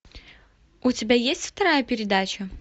у тебя есть вторая передача